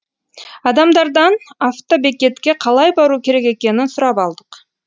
адамдардан автобекетке қалай бару керек екенін сұрап алдық